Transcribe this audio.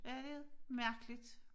Ja det er det mærkeligt